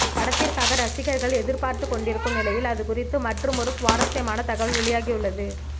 இப்படத்திற்காக ரசிகர்கள் எதிர்பார்த்துக் கொண்டிருக்கும் நிலையில் அதுகுறித்த மற்றுமொரு சுவாரசியமான தகவல் வெளியாகி உள்ளது